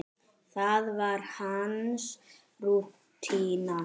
Það var hans rútína.